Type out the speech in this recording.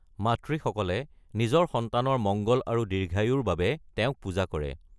মাতৃসকলে নিজৰ সন্তানৰ মংগল আৰু দীৰ্ঘায়ুৰ বাবে তেওঁক পূজা কৰে।